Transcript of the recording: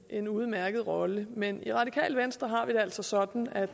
en udmærket rolle men i radikale venstre har vi det altså sådan at